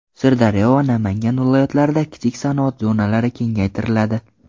Sirdaryo va Namangan viloyatlarida kichik sanoat zonalari kengaytiriladi.